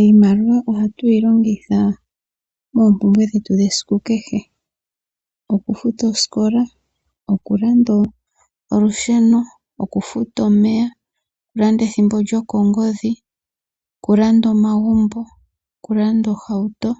Iimaliwa ohatu yi longitha moompumbwe dhetu dhesiku kehe. Okufuta oosikola, okulanda olusheno, okufuta omeya, okulanda ethimbo lyokongodhi, okulanda omagumbo, okulanda ohauto